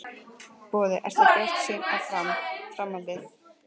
Boði: Ertu bjartsýnn á fram, framhaldið?